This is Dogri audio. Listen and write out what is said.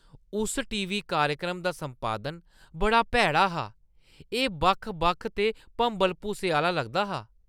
उस टीवी कार्यक्रम दा संपादन बड़ा भैड़ा हा। एह् बक्ख-बक्ख ते भंबल-भूसे आह्‌ला लगदा हा।